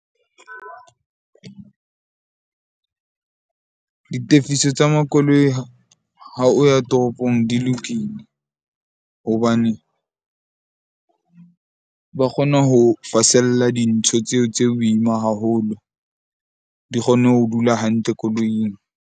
Ditefiso tsa makoloi ha o ya toropong di lokile. Hobane ba kgona ho fasella dintho tseo tse boima haholo di kgone ho dula hantle koloing.